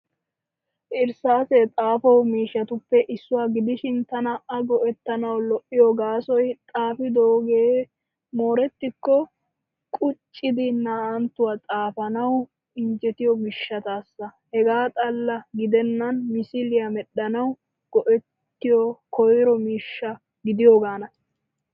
Irssaassee xaafo mishshatuppe issuwaa gidishin tana a go'ettanawu lo'iyo gaasoy xaafidooges moorettikko quccidi naa"anttuwaa xaafanawu injjetiyo gishshataassa. Hegaa xalla gidennan misiliyaa medhdhanawu go'ettiyo koyro miishsha gidiyoogaana.